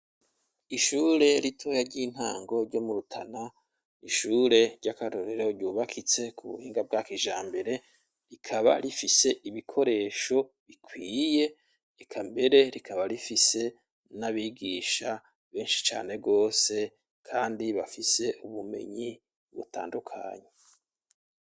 Ishure ritoya ry'intango ryo mu Rutana, ishure ryakarorero ryubakitse ku buhinga bwa kijambere, rikaba rifise ibikoresho bikwiye, eka mbere rikaba rifise n'abigisha benshi cane gose kandi bafise ubumenyi butandukanye.